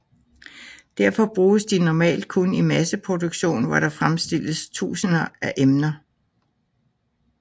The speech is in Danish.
Derfor bruges de normalt kun i masseproduktion hvor der fremstilles tusinder af emner